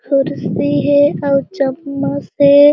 खुर्सी हे अउ चम्मस हे।